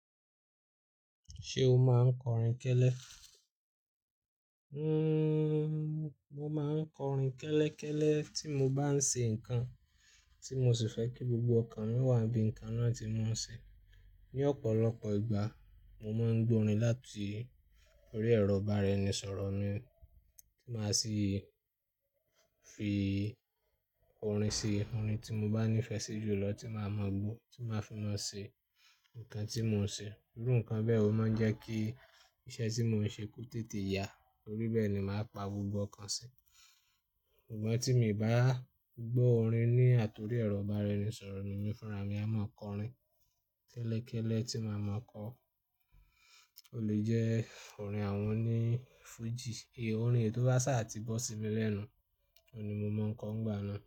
Ṣé o máa ń kọrin kẹ́lẹ́? Mo máa ń kọrin kẹ́lẹ́kẹ́lẹ́ tí mo bá ń ṣe nǹkan tí mo sì fẹ́ kí gbogbo ọ̀kan wà bí nǹkan náà tí mo ń ṣe. Ni ọ̀pọ̀lọpọ̀ ìgbà, mo máa ń gbọ́ orin láti orí ẹ̀rọ ìbára enisọ̀rọ̀ mi tí màá sì fi orin sí orin tí mo bá nífẹ̀ẹ́ sí jù lọ tí màá mọ gbó tí màá fi máa ṣe nǹkan tí mò ń ṣe. Irú nǹkan bẹ́ẹ̀ o máa ń jẹ́ kí iṣẹ́ tí mò ń ṣe kó tètè ya torí bẹ́ẹ̀ ni màá pa gbogbo ọ̀kan si. Sugbọ́n tí mi bá gbọ́ orin ní àtọri ẹ̀rọ ìbára enisọ̀rọ̀ mi, èmi fúnra mi a máa kọrin kẹ́lẹ́kẹ́lẹ́ tí màá mọ kọ. O lè jẹ́ orin àwọn òní Fuji, orin èyí tò bá ṣáà tí bó sí mi lẹ́nu, òun ni mo máa ń kọ n gbà náà.